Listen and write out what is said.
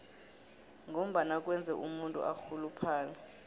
ngombana kwenza umuntu arhuluphale